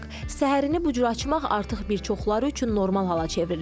Səhərini bu cür açmaq artıq bir çoxları üçün normal hala çevrilib.